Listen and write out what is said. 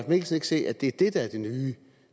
mikkelsen ikke se at det er det der er